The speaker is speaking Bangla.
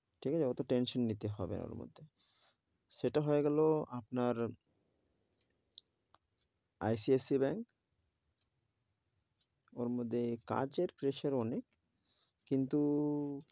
ঠিক আছে অটো tension নিতে হবে না ওর মধ্যে, সেটা হয়ে গেলো আপনার, ICICI ব্যাঙ্ক ওর মধ্যে কাজের pressure অনেক, কিন্তু,